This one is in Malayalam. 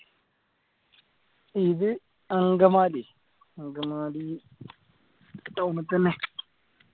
ഇത് അങ്കമാലി അങ്കമാലി town ൽ തന്നെ